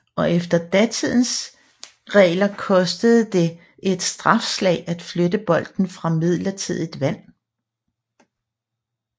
Og efter datidens regler kostede det et strafslag at flytte bolden fra midlertidigt vand